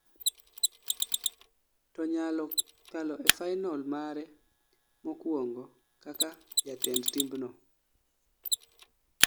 to nyalo kalo e final mare mokuongo kaka jatend timbno